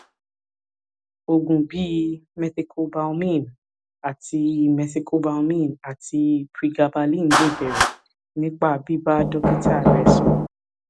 oògùn bíi methylcobalamin àti methylcobalamin àti pregabalin lè bẹrẹ nípa bíbá dókítà rẹ sọrọ